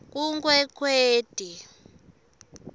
kunkwekweti